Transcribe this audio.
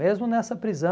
Mesmo nessa prisão...